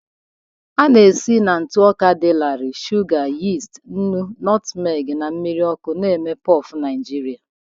A na-esi na ntụ ọka dị larịị, shuga, yist, nnu, nutmeg na mmiri ọkụ na-eme puff Nigeria.